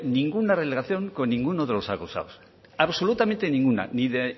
ninguna relación con ninguno de los acusados absolutamente ninguna ni de